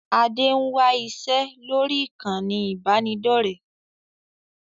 Adé ń wá iṣẹ́ lórí ìkànnì ibanidọ̀rẹ́